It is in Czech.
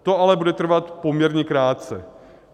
To ale bude trvat poměrně krátce.